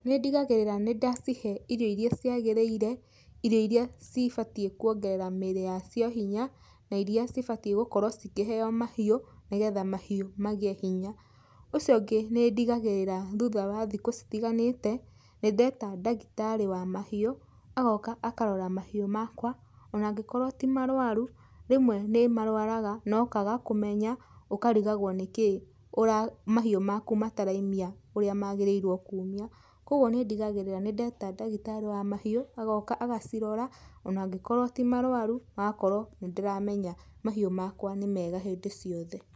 Nĩ ndigagirĩra nĩ ndacihe irio iria ciagĩrĩire, irio iria cibatie kuongerera mĩrĩ yacio hinya, na iria cibatie gũkorwo cikĩheo mahiũ nĩgetha mahiũ magĩe hinya. Ũcio ũngĩ nĩ ndigagĩrĩra thutha wa thikũ citiganĩte nĩ ndeta ndagĩtarĩ wa mahiũ, agoka akarora mahiũ makwa, ona angĩkorwo ti marũaru, rĩmwe ni marũaraga na ũkaga kũmenya, ũkarigagwo nĩ kĩĩ, mahiũ maku mataraimia ũrĩa magĩrĩirwo kumia. Kogwo nĩ ndigagĩrira nĩ ndeta ndagĩtarĩ wa mahiũ, agoka agacirora ona angĩkorwo ti marũaru, hagakorwo nĩ ndĩramenya mahiũ makwa nĩ mega hĩndĩ ciothe.